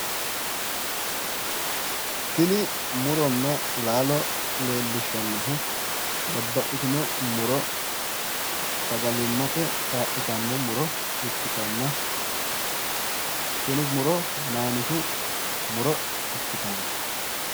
tini muronna laalo leellishshannohu babbaxxitino muro sagalimmate kaa'litanno muro ikkitanna tini muro hanaanisu muro ikkitanno.